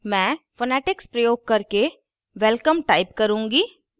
मैं phonetics प्रयोग करके welcome type करुँगी